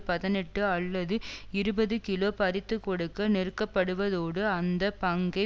பதினெட்டு அல்லது இருபது கிலோ பறித்துக்கொடுக்க நெருக்கப்படுவதோடு அந்த பங்கை